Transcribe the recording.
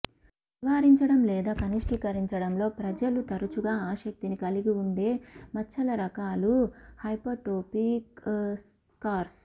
నివారించడం లేదా కనిష్టీకరించడంలో ప్రజలు తరచుగా ఆసక్తిని కలిగి ఉండే మచ్చల రకాలు హైపర్ట్రోఫిక్ స్కార్స్